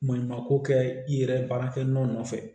Maɲumanko kɛ i yɛrɛ ye baara kɛ ɲɔgɔn nɔfɛ